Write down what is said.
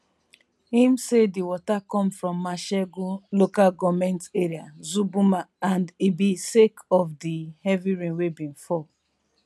im say di water come from mashegu local goment area zuburma and ibi sake of di heavy rain wey bin fall